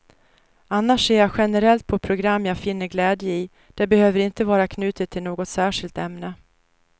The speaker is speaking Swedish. Annars ser jag generellt på program jag finner glädje i, det behöver inte vara knutet till något särskilt ämne.